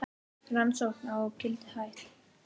Rannsókn á Gildi hætt